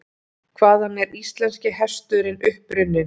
Hvaðan er íslenski hesturinn upprunninn?